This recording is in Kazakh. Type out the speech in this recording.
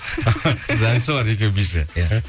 сіз әнші олар екеуі биші иә